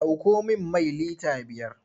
Ɗauko min mai lita biyar!